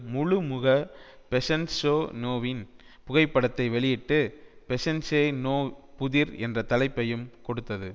முழு முக பெசன்ஷோநோவின் புகைப்படத்தை வெளியிட்டு பெசன்ஸெநோ புதிர் என்ற தலைப்பையும் கொடுத்தது